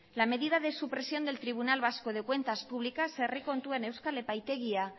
la medida de su presión del tribunal vasco de cuentas públicas herri kontuen euskal epaitegia